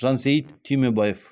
жансейіт түймебаев